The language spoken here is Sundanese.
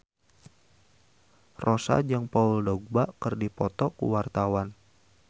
Rossa jeung Paul Dogba keur dipoto ku wartawan